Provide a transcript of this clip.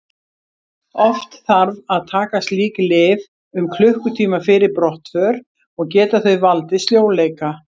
Oft þarf að taka slík lyf um klukkutíma fyrir brottför og geta þau valdið sljóleika.